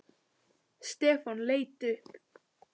Stefán leit upp.